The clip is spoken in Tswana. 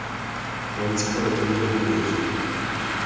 bontsha gore ke melemo efe